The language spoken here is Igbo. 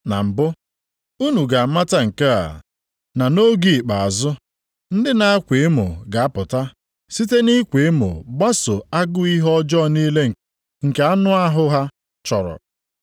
Na mbụ, unu ga-amata nke a, na nʼoge ikpeazụ, ndị na-akwa emo ga-apụta, site nʼịkwa emo gbaso agụ ihe ọjọọ niile nke anụ ahụ ha chọrọ